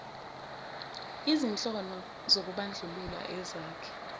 izinhlono zokubandlulula ezakhe